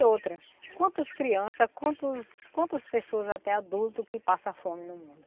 E outra, quantas crianças, quantos quantas pessoas, até adultos, que passam fome no mundo?